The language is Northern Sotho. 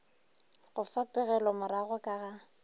go fa pegelomorago ka ga